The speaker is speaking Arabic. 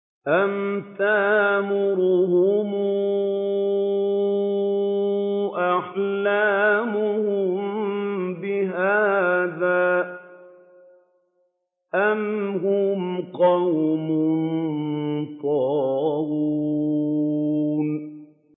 أَمْ تَأْمُرُهُمْ أَحْلَامُهُم بِهَٰذَا ۚ أَمْ هُمْ قَوْمٌ طَاغُونَ